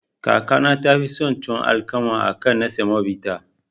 Kakana tafi son tuwon alkama akan na samobita.